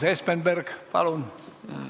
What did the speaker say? Urmas Espenberg, palun!